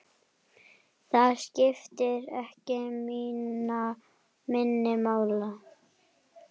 Það skiptir ekki minna máli.